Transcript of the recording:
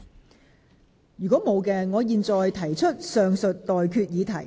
我現在向各位提出上述待決議題。